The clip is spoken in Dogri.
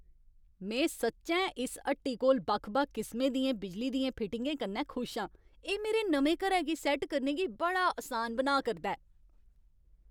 में सच्चैं इस हट्टी कोल बक्ख बक्ख किसमें दियें बिजली दियें फिटिंगें कन्नै खुश आं। एह् मेरे नमें घरै गी सैट्ट करने गी बड़ा असान बनाऽ करदा ऐ।